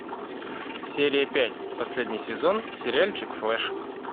серия пять последний сезон сериальчик флэш